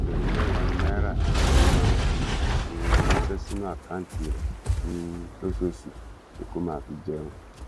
ẹgbẹ̀rún mẹ́wàá náírà ni mo máa ń fi um ránṣẹ́ sínú àkáùntì rẹ̀ um lóṣooṣù pé kó máa fi jẹun